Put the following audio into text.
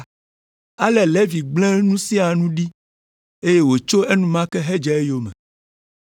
Ale Levi gblẽ nu sia nu ɖi, eye wòtso enumake hedze eyome.